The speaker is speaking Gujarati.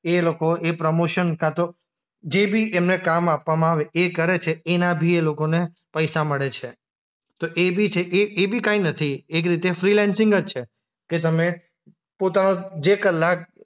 એ લોકો એ પ્રમોશન કાંતો જે બી એમને કામ આપવામાં આવે એ કરે છે. એના ભી એ લોકોને પૈસા મળે છે. તો એ બી છે એ એ બી કંઈ નથી, એક રીતે ફ્રીલેન્સિંગ જ છે કે તમે પોતા જે કલાક